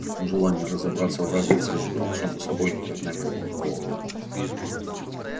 но желания разобраться в разнице между отцом и собой никогда не возникало у него